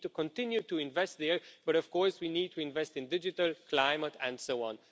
We need to continue to invest there, but of course we need to invest in digital, climate and so on.